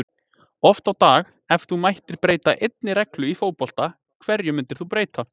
oft á dag Ef þú mættir breyta einni reglu í fótbolta, hverju myndir þú breyta?